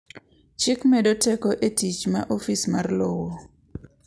Chik medo teko e tich ma Ofis mar lowo.